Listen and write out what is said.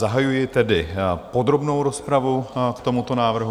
Zahajuji tedy podrobnou rozpravu k tomuto návrhu.